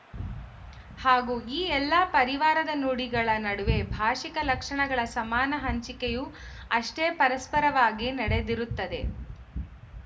ಹಾಗೂ ಈ ಎಲ್ಲ ಪರಿವಾರದ ನುಡಿಗಳ ನಡುವೆ ಭಾಶಿಕ ಲಕ್ಷಣಗಳ ಸಮಾನ ಹಂಚಿಕೆಯೂ ಅಷ್ಟೇ ಪರಸ್ಪರವಾಗಿ ನಡೆದಿರುತ್ತದೆ